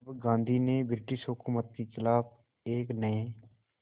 अब गांधी ने ब्रिटिश हुकूमत के ख़िलाफ़ एक नये